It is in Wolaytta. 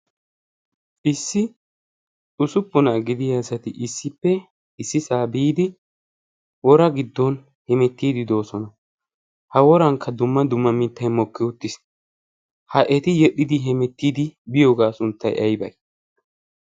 issi xusuppunaa gidiya asati issippe issi saa biidi wora giddon hemettiidi doosona. ha worankka dumma dumma mittai mokki uttiis. ha eti yedhdhidi hemettiidi biyoogaa sunttai aibai?